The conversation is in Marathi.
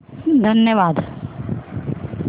धन्यवाद